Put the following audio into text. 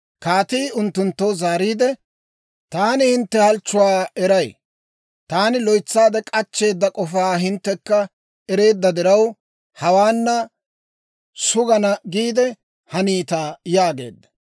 Kaatii unttunttoo zaariide, «Taani hintte halchchuwaa eray; taani loytsaade k'achcheeda k'ofaa hinttekka ereedda diraw, hawaa sugana giide haniita yaageedda.